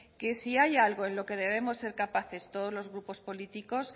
que si hay algo en lo que debemos de ser capaces todos los grupos políticos